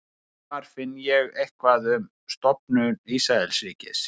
hvar finn ég eitthvað um stofnun ísraelsríkis